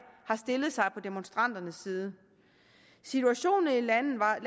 har stillet sig på demonstranternes side situationen i landet var i